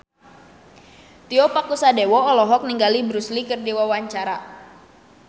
Tio Pakusadewo olohok ningali Bruce Lee keur diwawancara